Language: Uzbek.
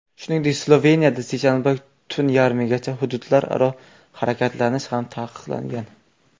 Shuningdek, Sloveniyada seshanbada tun yarmigacha hududlararo harakatlanish ham taqiqlangan.